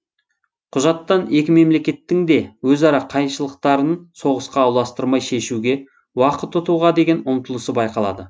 құжаттан екі мемлекеттің де өзара қайшылықтарын соғысқа ұластырмай шешуге уақыт ұтуға деген ұмтылысы байқалады